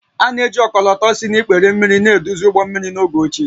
A na-eji ọkọlọtọ si n’ikpere mmiri na-eduzi ụgbọ mmiri n’oge ochie